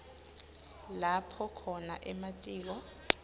lapho khona ematiko